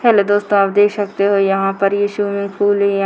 Hello दोस्तों आप देख सकते हो यहां पर ये स्विमिंग पूल हे। --